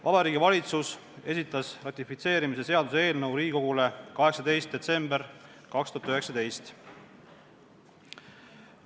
Vabariigi Valitsus esitas selle ratifitseerimise seaduse eelnõu Riigikogule 18. detsembril 2019.